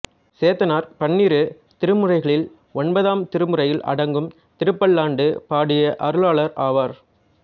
சேந்தனார் பன்னிரு திருமுறைகளில் ஒன்பதாம் திருமுறையில் அடங்கும் திருப்பல்லாண்டு பாடிய அருளாளர் ஆவார்